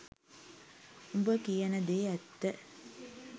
උඹ කියන දේ ඇත්ත